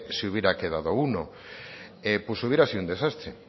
se hubiera quedado uno pues hubiera sido un desastre